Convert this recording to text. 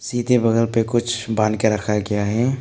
नीचे बगल पे कुछ बांध के रखा गया है।